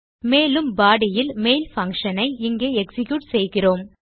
மேலும் பாடி இல் main function ஐ இங்கே எக்ஸிக்யூட் செய்கிறோம்